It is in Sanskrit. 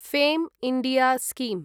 FAME India scheme